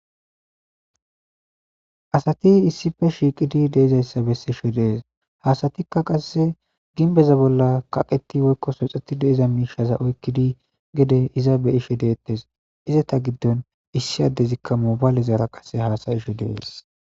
Asati issippe shiiqidi de7izayssa bessishe de7ees. Ha asti qasse ginbbeza bolla kaqeti woykko soxetti de7iza miishaza oykkidi gede iza be7ishe deetesi. Izeta giddon issi addezi moobaleraza haasa7ishe de7eesi.